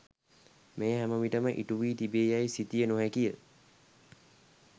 මෙය හැම විටම ඉටුවී තිබේ යැයි සිතිය නොහැකිය.